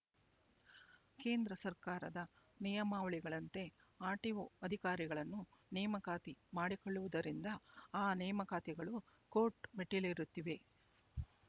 ಕೇಂದ್ರ ಸರ್ಕಾರದ ನಿಯಮಾವಳಿಗಳಂತೆ ಆರ್‌ಟಿಓ ಅಧಿಕಾರಿಗಳನ್ನು ನೇಮಕಾತಿ ಮಾಡಿಕೊಳ್ಳುವುದರಿಂದ ಆ ನೇಮಕಾತಿಗಳು ಕೋರ್ಟ್ ಮೆಟ್ಟಿಲೇರುತ್ತಿವೆ